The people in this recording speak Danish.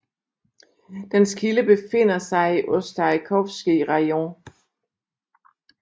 Dens kilde befinder sig i Ostasjkovskij rajon